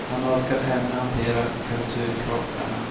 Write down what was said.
Han orkar ännu hantera kulturkrockarna,